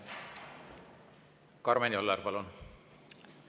Karmen Joller, palun!